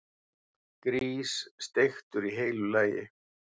Grís, steiktur í heilu lagi!